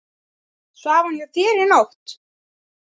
Svaf hún hjá þér í nótt?